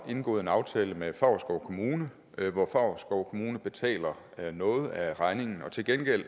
indgået en aftale med favrskov kommune hvor favrskov kommune betaler noget af regningen og til gengæld